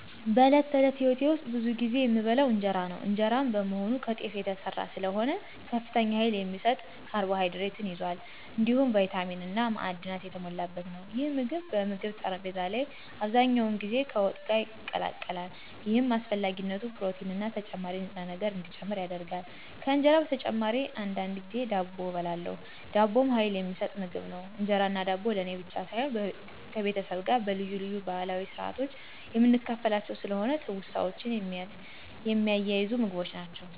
በዕለት ተዕለት ሕይወቴ ውስጥ ብዙ ጊዜ የምበላው እንጀራ ነው። እንጀራ በመሆኑ ከተፍ የተሰራ ስለሆነ ከፍተኛ ኃይል የሚሰጥ ካርቦሃይድሬት ይዟል፣ እንዲሁም ቪታሚን እና ማዕድናት የተሞላበት ነው። ይህ ምግብ በምግብ ጠረጴዛ ላይ አብዛኛውን ጊዜ ከወጥ ጋር ይቀላቀላል፣ ይህም አስፈላጊ ፕሮቲንና ተጨማሪ ንጥረ ነገር እንዲጨምር ያደርጋል። ከእንጀራ በተጨማሪ አንዳንድ ጊዜ ዳቦ እበላለሁ። ዳቦም ኃይል የሚሰጥ ምግብ ነው። እንጀራና ዳቦ ለእኔ ብቻ ሳይሆን ከቤተሰቤ ጋር በልዩ ልዩ ባህላዊ ስርአት የምካፈላቸውም ስለሆኑ ትውስታዎችን የሚያያዙ ምግቦች ናቸው።